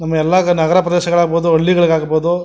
ನಮ್ಮ ಎಲ್ಲ ನಗರ ಪ್ರದೇಶಗಳು ಆಗಬಹುದು ಹಳ್ಳಿಗಳಲ್ಲಿ ಆಗಬಹುದು --